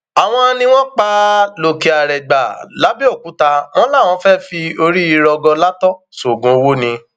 àwọn ni wọn pa á lòkèarègbà làbẹòkúta wọn láwọn fẹẹ fi orí rọgọlátọ sóògùn owó ni